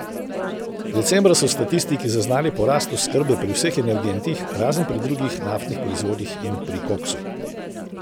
Decembra so statistiki zaznali porast oskrbe pri vseh energentih, razen pri drugih naftnih proizvodih in pri koksu.